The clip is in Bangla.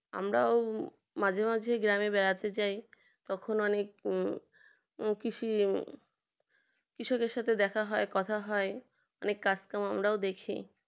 আমরাও মাঝে মাঝে গ্রামে বেড়াতে যাই তখন অনেক কৃষি কৃষকের সঙ্গে দেখা হয় কথা হয় অনেক কাজ কাম আমরাও দেখি